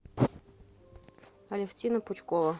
алевтина пучкова